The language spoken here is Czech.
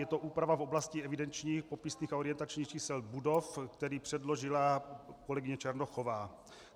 Je to úprava v oblasti evidenčních, popisných a orientačních čísel budov, který předložila kolegyně Černochová.